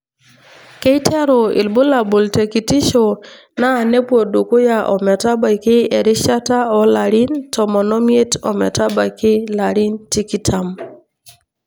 Keiteru ibulabul tekitisho naa nepwodukuya ometabaki erishata olarin tomon omiet ometabaiki larin tikitam.